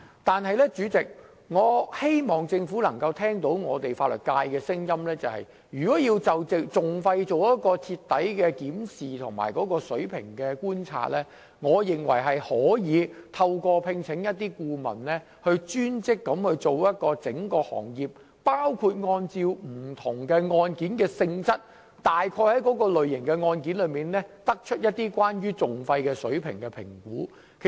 不過，主席，我希望政府聆聽法律界的聲音，對於就訟費的水平進行徹底的檢視和觀察，我認為可聘請顧問專職研究整個行業的收費，包括按照各類案件的性質來評估訟費的水平。